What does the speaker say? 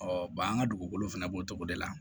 an ka dugukolo fɛnɛ b'o cogo de la